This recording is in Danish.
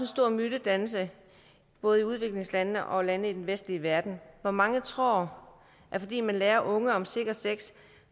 stor mytedannelse både i udviklingslandene og lande i den vestlige verden hvor mange tror at fordi man lærer unge om sikker sex